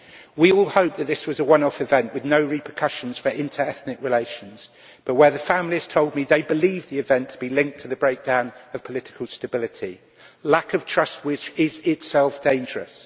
We all hoped that this was a one off event with no repercussions for inter ethnic relations, but the families told me they believe the event to be linked to the breakdown of political stability. This lack of trust is, in itself, dangerous.